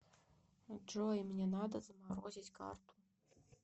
джой мне надо заморозить карту